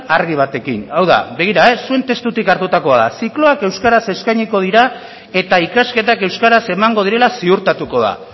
argi batekin hau da begira zuen testutik hartutakoa da zikloak euskaraz eskainiko dira eta ikasketak euskaraz emango direla ziurtatuko da